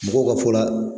Mɔgɔw ka fɔ la